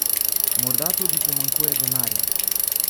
Morda tudi pomanjkanje denarja?